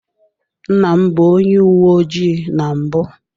Nna m bụ onye uwe ojii na mbụ.